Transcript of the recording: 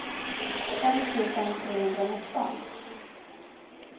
fem tusen trehundranitton